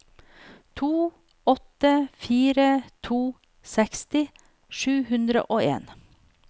to åtte fire to seksti sju hundre og en